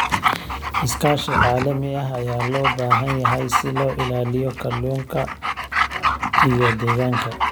Iskaashi caalami ah ayaa loo baahan yahay si loo ilaaliyo kalluunka iyo deegaanka.